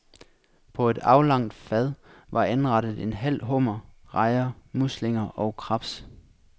På et aflangt fad var anrettet en halv hummer, rejer, muslinger og krebs.